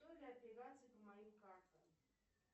операций по моим картам